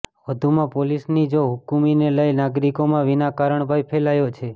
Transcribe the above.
વધુમાં પોલીસની જોહુકમીને લઇ નાગરિકોમાં વિના કારણ ભય ફેલાયો છે